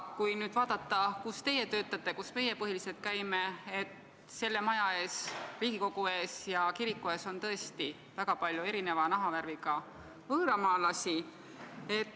Kui nüüd vaadata, kus teie töötate ja kus meie põhiliselt käime, siis näeme, et selle maja ees, Riigikogu ees ja kiriku ees on tõesti väga palju erineva nahavärviga võõramaalasi.